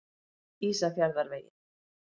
Ísafjarðarvegi